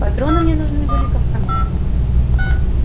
патроны мне нужны были к автомату